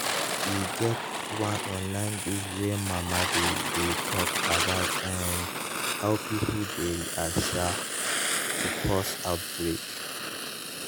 e get one online group wey mama dey dey talk about um how pipo dey react um to pause outbreak